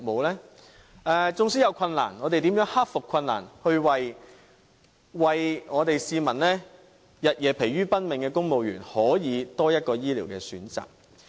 縱使在過程中會遇上困難，但我們如何克服困難，使為市民日夜疲於奔命的公務員可有多一個醫療選擇呢？